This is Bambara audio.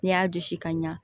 N'i y'a dusu kaɲa